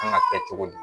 Kan ka kɛ cogo di